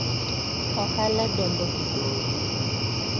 Ohala dongo gi gowi.